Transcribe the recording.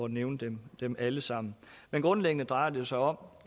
nævne dem alle sammen men grundlæggende drejer det sig om